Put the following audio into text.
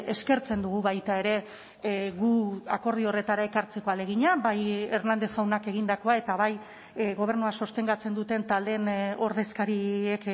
eskertzen dugu baita ere gu akordio horretara ekartzeko ahalegina bai hernández jaunak egindakoa eta bai gobernua sostengatzen duten taldeen ordezkariek